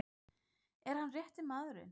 Er hann rétti maðurinn?